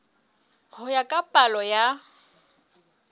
ho ya ka palo ya